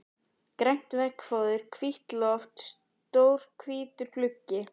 Grænt veggfóður, hvítt loft, stór hvítur gluggi.